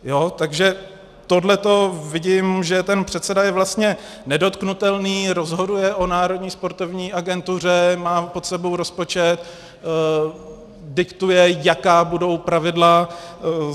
Takže tohle vidím, že ten předseda je vlastně nedotknutelný, rozhoduje o Národní sportovní agentuře, má pod sebou rozpočet, diktuje, jaká budou pravidla.